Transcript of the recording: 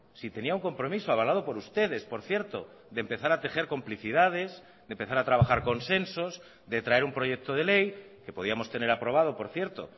si tenía un compromiso avalado por ustedes por cierto de empezar a tejer complicidades de empezar a trabajar consensos de traer un proyecto de ley que podíamos tener aprobado por cierto